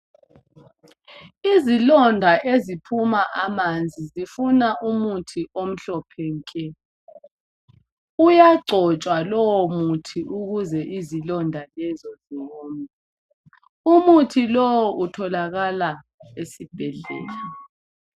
Izilonda eziphuma amanzi zifuna umuthi omhlophe nke uyagcontshwa lowo muthi ukuze izilonda lezo zowome umuthi lowo utholakala esibhedlela.